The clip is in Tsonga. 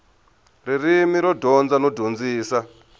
ririmi ro dyondza no dyondzisa